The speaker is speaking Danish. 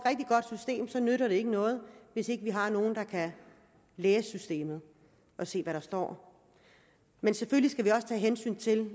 at nytter det ikke noget hvis ikke vi har nogen der kan læse systemet og se hvad der står men selvfølgelig skal vi også tage hensyn til